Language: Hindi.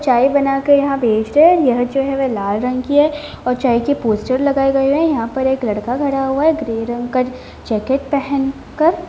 चाय बनाकर यहाँ बेच रहे है यह जो है लाल रंग की है और चाय की पोस्टर लगाए गए है यहाँ एक लड़का खड़ा हुआ है ग्रे रंग का जैकेट पहन कर।